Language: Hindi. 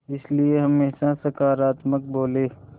इसलिए हमेशा सकारात्मक बोलें